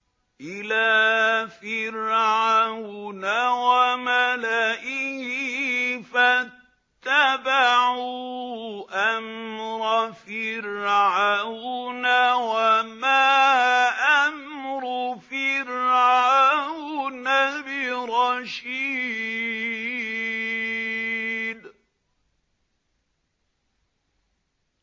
إِلَىٰ فِرْعَوْنَ وَمَلَئِهِ فَاتَّبَعُوا أَمْرَ فِرْعَوْنَ ۖ وَمَا أَمْرُ فِرْعَوْنَ بِرَشِيدٍ